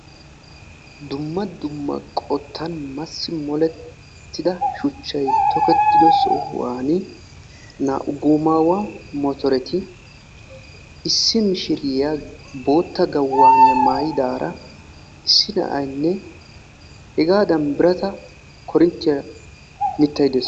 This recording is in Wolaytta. Dumma dumma qottan massi molettida shuchchay tokettido sohuwani naa"u goomaawa motoreti, issi mishiriya bootta gawaniya maayidaara, issi na"aynne hegaadan birata koorinttiya mittay de'ees